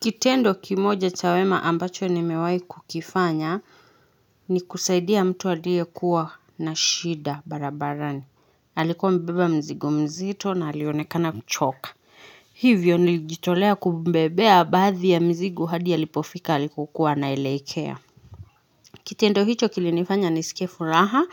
Kitendo kimoja cha wema ambacho nimewai kukifanya ni kusaidia mtu alie kuwa na shida barabarani. Alikuwa amebeba mzigo mzito na alionekana kuchoka. Hivyo nilijitolea kumbebea baathi ya mizigo hadi alipofika alikokuwa anaelekea. Kitendo hicho kilinifanya nisike furaha